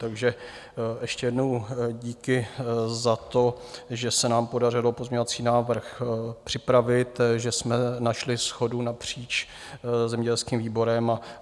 Takže ještě jednou díky za to, že se nám podařilo pozměňovací návrh připravit, že jsme našli shodu napříč zemědělským výborem.